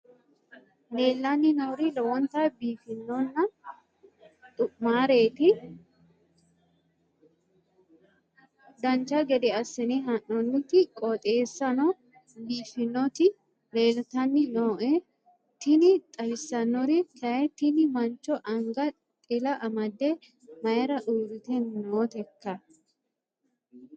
leellanni nooeri lowonta biiffinonna xumareeti dancha gede assine haa'noonniti qooxeessano biiffinoti leeltanni nooe tini xawissannori kayi tini mancho anga xila amade mayra uurite nooteikka